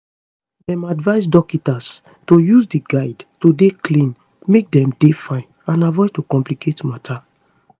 dem advise dokita's to use di guides to dey clean make dem dey fine and avoid to complicate matter